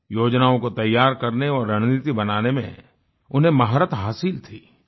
योजनाओं को तैयार करने और रणनीति बनाने में उन्हें महारत हासिल थी